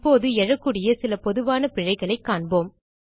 இப்போது எழக்கூடிய சில பொதுவான பிழைகளை காண்போம்